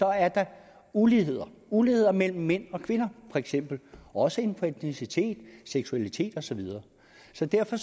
er der uligheder uligheder mellem mænd og kvinder feks også inden for etnicitet seksualitet og så videre så derfor